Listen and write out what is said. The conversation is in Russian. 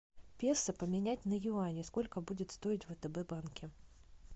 песо поменять на юани сколько будет стоить в втб банке